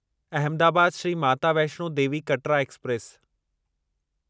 Ahmedabad Shri Mata Vaishno Devi Katra express